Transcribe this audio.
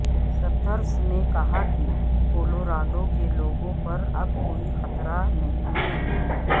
Suthers نے کہا کہ کولوراڈو کے لوگوں پر اب کوئی خطرہ نہیں ہے